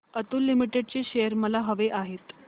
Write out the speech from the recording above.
Atul limited चे shares मला हवे आहेत